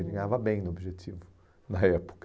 Eu ganhava bem no objetivo na época.